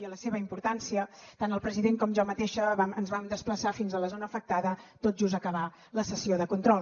i a la seva importància tant el president com jo mateixa ens vam desplaçar fins a la zona afectada tot just acabar la sessió de control